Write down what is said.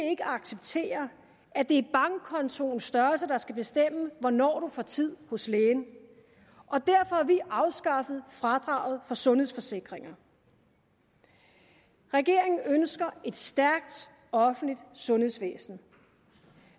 ikke acceptere at det er bankkontoens størrelse der skal bestemme hvornår du får tid hos lægen og derfor har vi afskaffet fradraget for sundhedsforsikringer regeringen ønsker et stærkt offentligt sundhedsvæsen